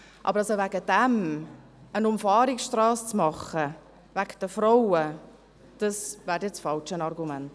Aber wegen der Frauen eine Umfahrungsstrasse zu bauen, das wäre ein falsches Argument.